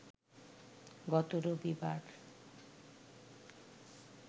গত রবিবার